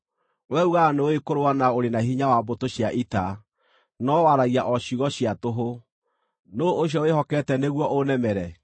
Wee uugaga nĩ ũũĩ kũrũa na ũrĩ na hinya wa mbũtũ cia ita, no waragia o ciugo cia tũhũ. Nũũ ũcio wĩhokete nĩguo ũnemere?